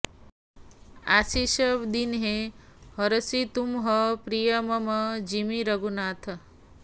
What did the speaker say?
आसिष दीन्हे हरषि तुम्ह प्रिय मम जिमि रघुनाथ